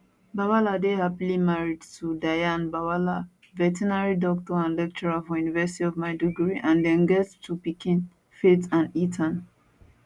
bwala dey happily married to diana bwala veterinary doctor and lecturer for university of maiduguri and dem get two pikin faith and ethan